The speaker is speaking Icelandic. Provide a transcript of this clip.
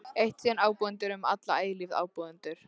Eitt sinn ábúendur, um alla eilífð áburður.